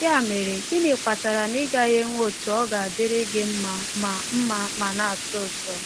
Ya mere, gịnị kpatara na ị gaghị enwe otu - ọ ga-adịrị gị mma ma mma ma na-atọ ụtọ!